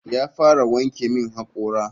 Ya fara wanke min hakora.